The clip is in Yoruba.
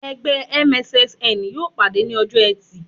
Ẹgbẹ́ MSSN yóò pàdé ní ọjọ́ ẹtì